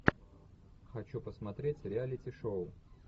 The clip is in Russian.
хочу посмотреть реалити шоу